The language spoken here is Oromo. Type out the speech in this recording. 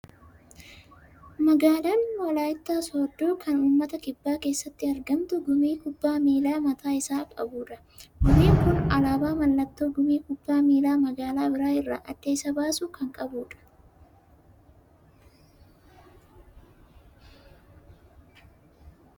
Magaalaan walaayittaa sooddoo kan uummata Kibbaa keessatti argamu, gumii kubbaa miilaa mataa isaa qabudha. Gumiin kun alaabaa mallattoo gumii kubbaa miilaa magaalaa biraa irraa adda isa baasu kan qabu dha.